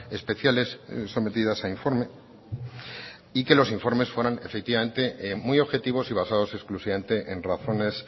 especiales sometidas a informe y que los informes fueran efectivamente muy objetivos y basados exclusivamente en razones